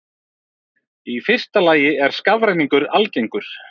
Í fyrsta lagi er skafrenningur algengur.